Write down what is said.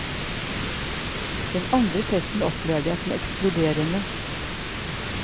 Den andre festen opplevde jeg som ekskluderende.